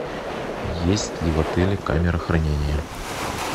есть ли в отеле камера хранения